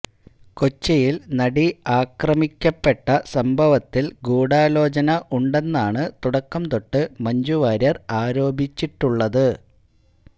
കൊച്ചിയില് നടി ആക്രമിക്കപ്പെട്ട സംഭവത്തില് ഗൂഢാലോചന ഉണ്ടെന്നാണ് തുടക്കം തൊട്ട് മഞ്ജു വാര്യര് ആരോപിച്ചിട്ടുള്ളത്